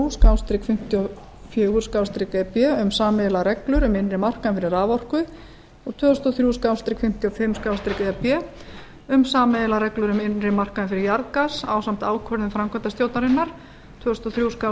fimmtíu og fjögur e b frá tuttugasta og sjötta júní tvö þúsund og þrjú um sameiginlegar reglur um innri markaðinn fyrir raforku tvö þúsund og þrjú fimmtíu og fimm e b um sameiginlegar reglur um innri markaðinn fyrir jarðgas ásamt ákvörðun framkvæmdastjórnarinnar tvö þúsund og